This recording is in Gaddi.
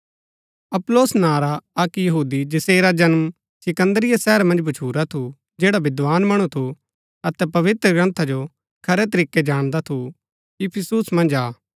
अपुल्लोस नां रा अक्क यहूदी जैसेरा जन्म सिकन्दरिया शहर मन्ज भच्छुरा थु जैडा विद्धान मणु थु अतै पवित्रग्रन्था जो खरै तरीकै जाणदा थु इफिसुस मन्ज आ